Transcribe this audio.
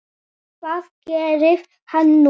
Hvað gerir hann nú?